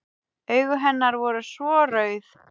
Augu hennar voru svo rauð.